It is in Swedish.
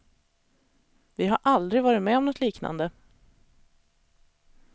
Vi har aldrig varit med om något liknande.